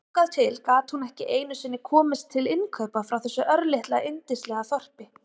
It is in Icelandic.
Þangað til gat hún ekki einu sinni komist til innkaupa frá þessu örlitla yndislega þorpi.